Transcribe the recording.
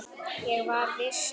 Ég var viss um það.